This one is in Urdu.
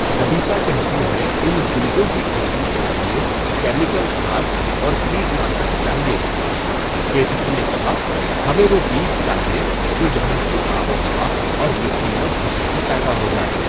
نبیتا کہتی ہے اُن بیجوں کی کھیتی کیلئے کیمیکل کھاد اور کیٹ ناشک چاہئے، کیتکی نے کہا ہمیں وہ بیج چاہیئں جو یہاں کی آب و ہوا اور مٹی میں خوشی سے پیدا ہو جائیں۔